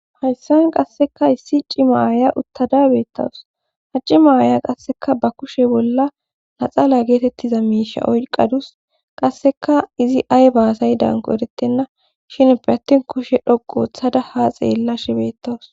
hayssan qasseka issi cima aaya uttadabeettawus ha cima aaya qasseka ba kushe bolla naxaala geetettiza miisha oyqadus qasseka izi ay baasay danko erettenna shinpe attin kushe dhoqu othada ha xeella shibettawus